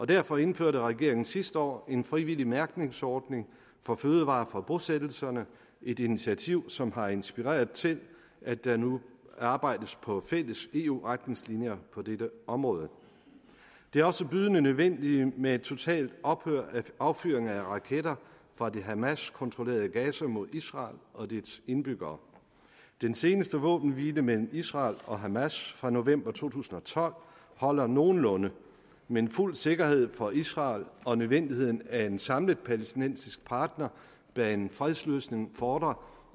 derfor indførte regeringen sidste år en frivillig mærkningsordning for fødevarer fra bosættelserne et initiativ som har inspireret til at der nu arbejdes på fælles eu retningslinjer på dette område det er også bydende nødvendigt med et totalt ophør af affyring af raketter fra det hamaskontrollerede gaza mod israel og dets indbyggere den seneste våbenhvile mellem israel og hamas fra november to tusind og tolv holder nogenlunde men fuld sikkerhed for israel og nødvendigheden af en samlet palæstinensisk partner bag en fredsløsning fordrer